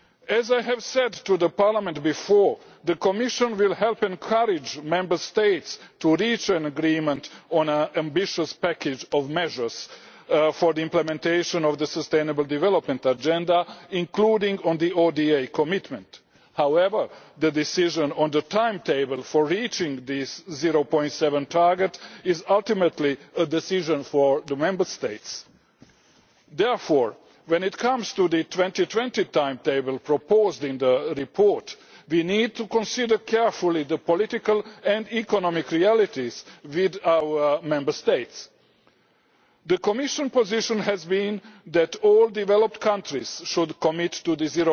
As I have said to Parliament before, the Commission will help encourage Member States to reach an agreement on an ambitious package of measures for the implementation of the sustainable development agenda, including on the ODA commitment. However, the decision on the timetable for reaching the 0.7 target is ultimately a decision for the Member States. Therefore, when it comes to the 2020 timetable proposed in the report, we need to consider carefully the political and economic realities within our Member States. The Commission position has been that all developed countries should commit to